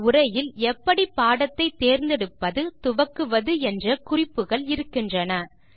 இந்த உரையில் எப்படி பாடத்தை தேர்ந்தெடுப்பது துவக்குவது என்ற குறிப்புகள் இருக்கின்றன